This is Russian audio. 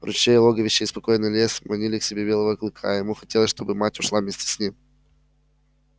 ручей логовище и спокойный лес манили к себе белого клыка и ему хотелось чтобы мать ушла вместе с ним